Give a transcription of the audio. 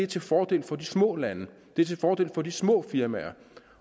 til fordel for de små lande det er til fordel for de små firmaer